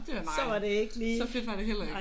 Så var det ikke lige